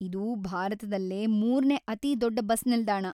ಇದು ಭಾರತದಲ್ಲೇ ಮೂರ್ನೇ ಅತಿ ದೊಡ್ಡ ಬಸ್‌ ನಿಲ್ದಾಣ.